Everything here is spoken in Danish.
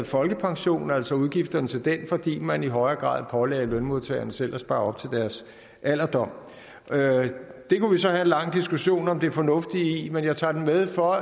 folkepension altså udgifterne til den fordi man i højere grad pålagde lønmodtagerne selv at spare op til deres alderdom vi kunne så have en lang diskussion om det fornuftige i det men jeg tager det med for